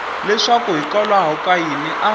leswaku hikwalaho ka yini a